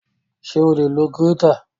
Ṣé o lè lo gírétà?